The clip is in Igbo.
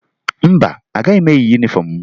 Mba, agaghị m eyi yunifọmụ m